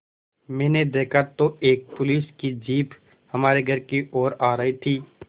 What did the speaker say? मैंने देखा तो एक पुलिस की जीप हमारे घर की ओर आ रही थी